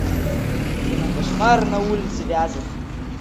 кино кошмар на улице вязов